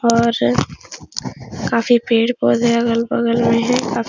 और काफी पेड़-पौधे अगल-बगल में हैं। का --